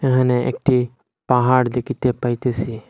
এহানে একটি পাহাড় দেখিতে পাইতেসি।